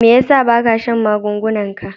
Me yasa ba ka shan magungunan ka?